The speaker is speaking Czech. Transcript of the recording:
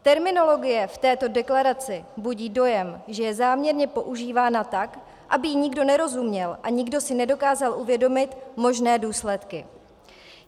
Terminologie v této deklaraci budí dojem, že je záměrně používána tak, aby jí nikdo nerozuměl a nikdo si nedokázal uvědomit možné důsledky.